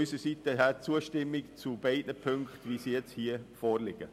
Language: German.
Deshalb stimmen wir unsererseits beiden Punkten in vorliegender Form zu.